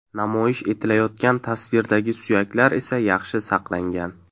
Namoyish etilayotgan tasvirdagi suyaklar esa yaxshi saqlangan.